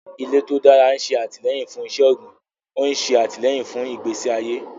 Ilẹ̀ tó dára ń ṣe àtìlẹ́yìn fún iṣẹ́ ọ̀gbìn, ó ń ṣe àtìlẹ́yìn fún ìgbésí ayé.